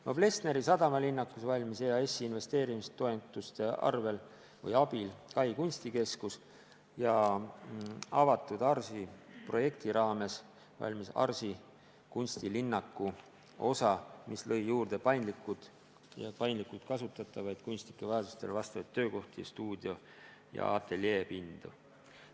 Noblessneri sadamalinnakus valmis EAS-i investeeringutoetuse abil Kai kunstikeskus ja projekti "Avatud ARS" raames ARS-i kunstilinnaku osa, mis lõi juurde paindlikult kasutatavaid ja kunstnike vajadustele vastavaid töökohti, stuudio- ja ateljeepindu.